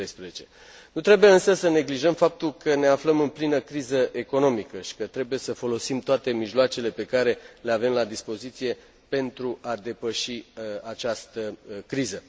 2013. Nu trebuie însă să neglijăm faptul că ne aflăm în plină criză economică și că trebuie să folosim toate mijloacele pe care le avem la dispoziție pentru a depăși această criză.